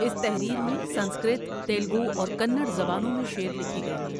اس تحریر میں سنسکرت، تیلگو اور کنڑ زبانوں میں شعر لکھے گئے ہیں۔